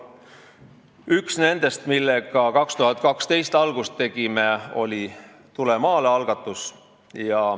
Üks nendest, millega aastal 2012 algust tegime, oli algatus "Tule maale!".